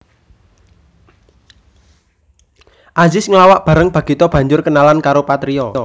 Azis nglawak bareng Bagito banjur kenalan karo Patrio